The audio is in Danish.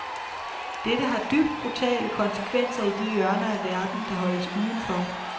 Dette har dybt brutale konsekvenser i de hjørner af verden, der holdes uden for.